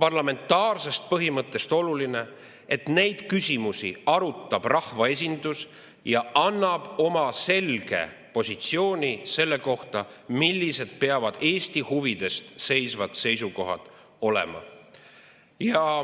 parlamentaarsest põhimõttest lähtudes oluline, et neid küsimusi arutab rahvaesindus ja annab oma selge positsiooni selle kohta, millised peavad Eesti huvide eest seisvad seisukohad olema.